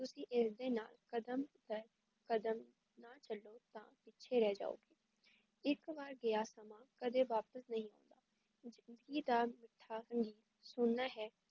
ਤੁਸੀਂ ਇਸ ਦੇ ਕਦਮ ਦਰ ਕਦਮ ਨਾਲ ਚਲੋ ਨਹੀਂ ਤਾਂ ਪਿੱਛੇ ਰਹ ਜਾਓਗੇ ਇੱਕ ਵਾਰ ਗਯਾ ਸਮਾਂ ਕਦੇ ਵਾਪਿਸ ਨਹੀਂ ਆਉਂਦ ਸੁਣਨਾ ਹੈ